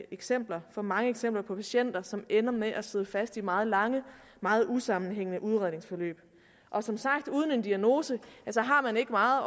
eksempler for mange eksempler på patienter som ender med at sidde fast i meget lange og meget usammenhængende udredningsforløb og som sagt uden en diagnose har man ikke meget